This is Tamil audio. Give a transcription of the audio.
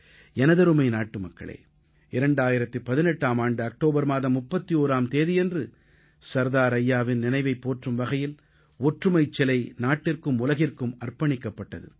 எனதருமை நாட்டுமக்களே 2018ஆம் ஆண்டு அக்டோபர் மாதம் 31ஆம் தேதியன்று சர்தார் ஐயாவின் நினைவைப் போற்றும் வகையில் ஒற்றுமைச் சிலை நாட்டிற்கும் உலகிற்கும் அர்ப்பணிக்கப்பட்டது